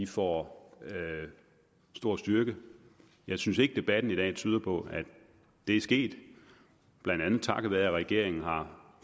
får stor styrke jeg synes ikke debatten i dag tyder på at det er sket blandt andet takket være at regeringen har